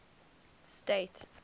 state